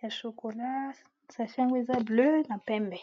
ya shokola, sachet ya yango eza bozinga na pembe .